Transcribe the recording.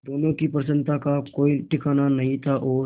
दोनों की प्रसन्नता का कोई ठिकाना नहीं था और